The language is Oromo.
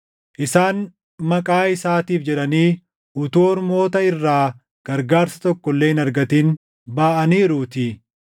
Isaan Maqaa isaatiif jedhanii utuu ormoota irraa gargaarsa tokko illee hin argatin baʼaniiruutii.